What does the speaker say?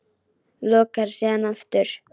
Lokar síðan aftur.